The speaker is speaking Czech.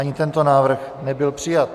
Ani tento návrh nebyl přijat.